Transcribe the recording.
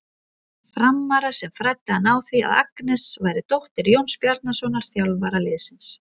Frammara sem fræddi hann á því að Agnes væri dóttir Jóns Bjarnasonar, þjálfara liðsins.